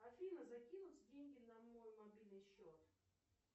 афина закинуть деньги на мой мобильный счет